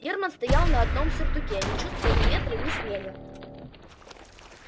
германн стоял на одном сюртуке не чувствуя ни ветра ни снега